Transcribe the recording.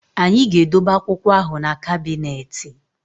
Anyị ga-edobe akwụkwọ ahụ na kabịnetị